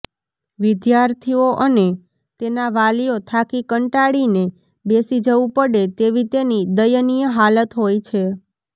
વિદ્યાર્થીઓ અને તેના વાલીઓ થાકી કંટાળીને બેસી જવું પડે તેવી તેની દયનિય હાલત હોય છે